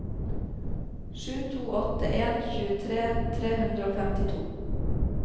sju to åtte en tjuetre tre hundre og femtito